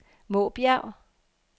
Måbjerg